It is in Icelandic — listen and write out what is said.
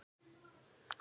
Sindri: Ekki?